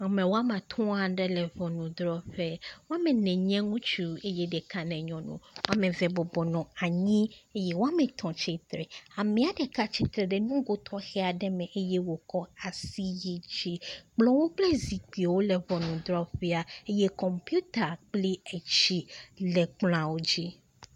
Ame woame atɔ̃ aɖe le ŋɔnudrɔƒe, woame ne nye ŋutsu eye ɖeka nye nyɔnu, woame eve bɔbɔ nɔ anyi. Eye woame tɔ̃ tsitre, amea ɖeka tsitre ɖe nugo tɔxe aɖe me eye wòkɔ asi yi dzi. Kplɔwo kple zikpui le ŋɔnudrɔƒea eye kɔmpita kpli etsi le kplɔa dzi.